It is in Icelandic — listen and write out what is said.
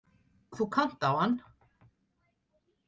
Þú kannt á hann